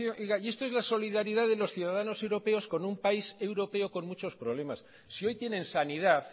y esto es la solidaridad de los ciudadanos europeos con un país europeo con muchos problemas si hoy tienen sanidad